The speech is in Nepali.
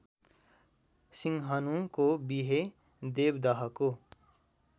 सिंहनुको विहे देवदहको